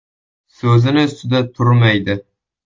So‘zini ustida turmaydi.